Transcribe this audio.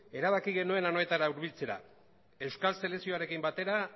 erabaki genuen anoetara hurbiltzera euskal selekzioarekin batera